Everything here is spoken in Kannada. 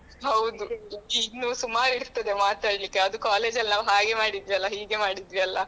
ಹೌದು ಇನ್ನು ಸುಮಾರು ಇರ್ತದೆ ಮಾತಾಡ್ಲಿಕ್ಕೆ ಅದು college ಅಲ್ಲಿ ನಾವು ಹಾಗೆ ಮಾಡಿದ್ವಿ ಅಲಾಹೀಗೆ ಮಾಡಿದ್ವಿ ಅಲಾ.